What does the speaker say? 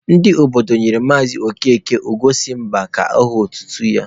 Ndị obodo nyere Maazị Okeke Ugo si mba ka aha otutu ya.